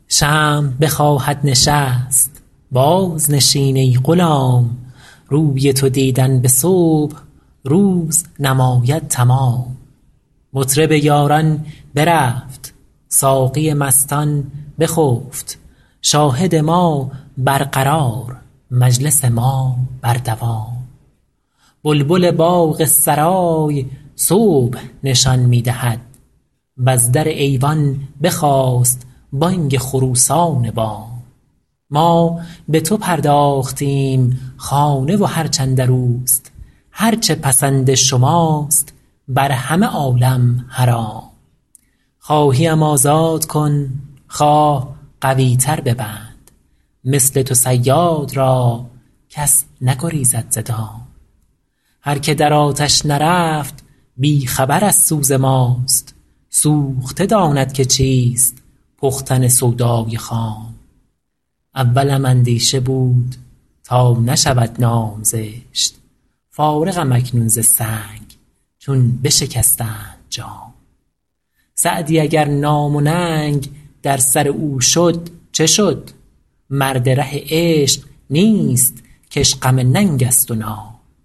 شمع بخواهد نشست بازنشین ای غلام روی تو دیدن به صبح روز نماید تمام مطرب یاران برفت ساقی مستان بخفت شاهد ما برقرار مجلس ما بر دوام بلبل باغ سرای صبح نشان می دهد وز در ایوان بخاست بانگ خروسان بام ما به تو پرداختیم خانه و هرچ اندر اوست هر چه پسند شماست بر همه عالم حرام خواهی ام آزاد کن خواه قوی تر ببند مثل تو صیاد را کس نگریزد ز دام هر که در آتش نرفت بی خبر از سوز ماست سوخته داند که چیست پختن سودای خام اولم اندیشه بود تا نشود نام زشت فارغم اکنون ز سنگ چون بشکستند جام سعدی اگر نام و ننگ در سر او شد چه شد مرد ره عشق نیست که اش غم ننگ است و نام